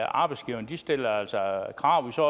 arbejdsgiverne stiller altså krav vi ser